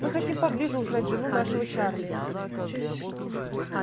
мы хотим поближе узнать жену нашего чарли